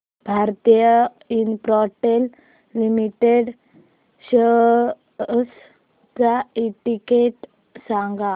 Bharti Infratel limited shares चा index सांगा